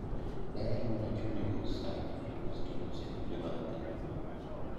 daher mondo achuli nus sani kasto nus achuli bange